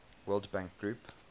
world bank group